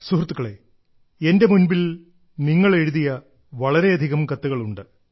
സുഹൃത്തുക്കളേ എന്റെ മുൻപിൽ നിങ്ങൾ എഴുതിയ വളരെയധികം കത്തുകളുണ്ട്